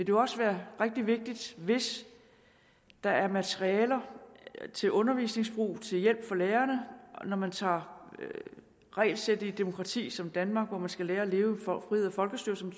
jo også være rigtig vigtigt hvis der er materialer til undervisningsbrug til hjælp for lærerne når man tager regelsættet i et demokrati som danmark hvor man skal lære at leve for frihed og folkestyre som